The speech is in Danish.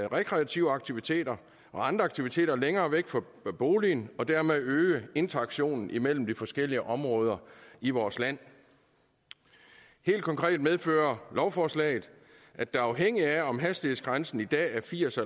rekreative aktiviteter og andre aktiviteter længere væk fra boligen og dermed øge interaktionen imellem de forskellige områder i vores land helt konkret medfører lovforslaget at der afhængigt af om hastighedsgrænsen i dag er firs